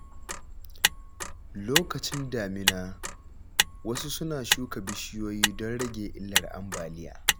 Lokacin damina, wasu suna shuka bishiyoyi don rage illar ambaliya.